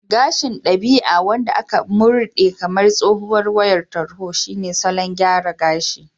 Gashin dabi'a wanda aka murɗe kamar tsohuwar wayar tarho shine salon gyara gashi